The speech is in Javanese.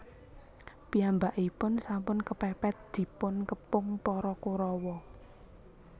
Piyambakipun sampun kepèpèt dipun kepung para Korawa